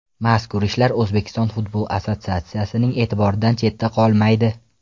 Mazkur ishlar O‘zbekiston futbol assotsiatsiyasining e’tiboridan chetda qolmaydi.